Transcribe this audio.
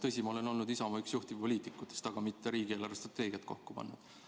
Tõsi, ma olen olnud üks Isamaa juhtivpoliitikutest, aga ma ei ole riigi eelarvestrateegiat kokku pannud.